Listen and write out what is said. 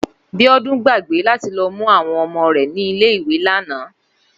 Bíódún gbàgbé láti lo mú àwon omo rè nílé ìwé lánàá